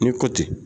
Ni kɔti